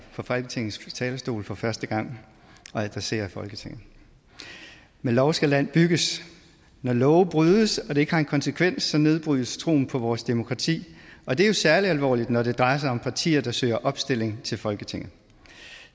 på folketingets talerstol for første gang og adressere folketinget med lov skal land bygges når love brydes og det ikke har en konsekvens så nedbrydes troen på vores demokrati og det er jo særlig alvorligt når det drejer sig om partier der søger opstilling til folketinget